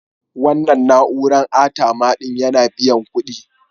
Wannan na'uran ATM ɗin yana biyan kuɗi.